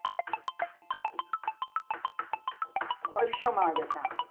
હર શમતા